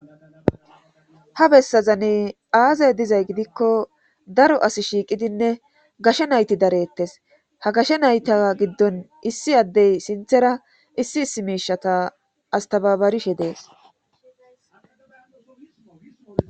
Ha bessazane aazay dizay gidikko daro as shiiqidinne gashe nayti darettes ha gashe nayta giddon issi addey sinthera issi issi miishata astababarishe dees